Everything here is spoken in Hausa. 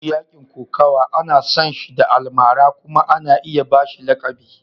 Duk mutumin da ya ci yakin kokawa ana san shi da almara kuma ana iya ba shi lakabi.